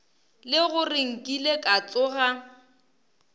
le gore nkile ka tsoga